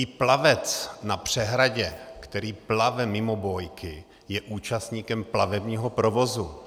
I plavec na přehradě, který plave mimo bójky, je účastníkem plavebního provozu.